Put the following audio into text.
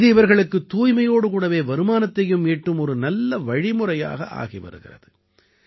இது இவர்களுக்குத் தூய்மையோடு கூடவே வருமானத்தையும் ஈட்டும் ஒரு நல்ல வழிமுறையாக ஆகி வருகிறது